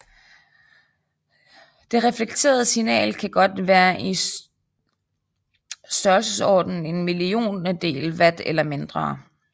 Det reflekterede signal kan godt være i størrelsesordenen en milliontedel watt eller mindre